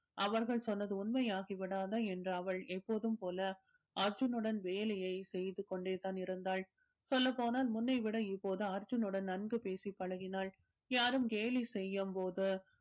அவர்கள் சொன்னது உண்மையாகி விடாதா என்று அவள் எப்போதும் போல அர்ஜூனுடன் வேலையை செய்து கொண்டே தான் இருந்தாள் சொல்லப் போனால் முன்னைவிட இப்போது அர்ஜுனுடன் நன்கு பேசி பழகினாள் யாரும் கேலி செய்யும் போது